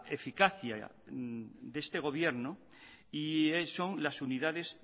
eficacia de este gobierno y son las unidades